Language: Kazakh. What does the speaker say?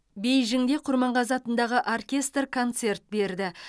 бейжіңде құрманғазы атындағы оркестр концерт берді